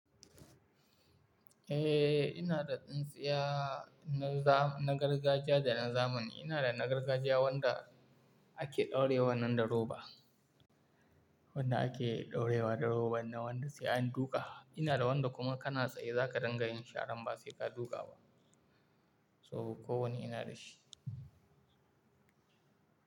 Eh, ina da tsintsiya na gargajiya da na zamani. Ina da na gargajiya wanda ake ɗaurewa nan da roba, wanda ake ɗaurewa da roban na wanda sai an duka. Ina da wanda kuma kana tsaye za ka dangana in sharan ba sai ka duka ba. Toh kowanne ina da shi.